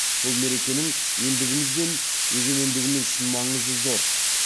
бұл мерекенің елдігіміз бен егемендігіміз үшін маңызы зор